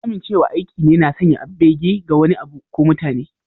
Amincewa aiki ne na sanya bege ga wani abu ko mutane.